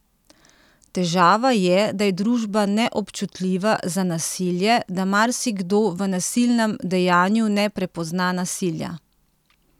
Težava je, da je družba neobčutljiva za nasilje, da marsikdo v nasilnem dejanju ne prepozna nasilja.